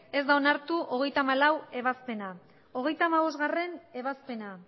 ez da onartu hogeita hamalaugarrena ebazpena hogeita hamabostgarrena ebazpena